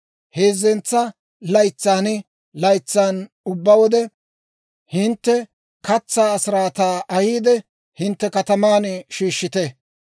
Heezzentsa laytsan laytsan ubbaa wode, hintte katsaa asiraataa ahiide, hintte kataman shiishshite.